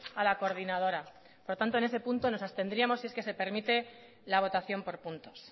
a la coordinadora por lo tanto en ese punto nos obtendríamos si esto se permite la votación por puntos